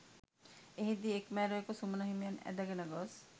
එහිදී එක්‌ මැරයකු සුමන හිමියන් ඇදගෙන ගොස්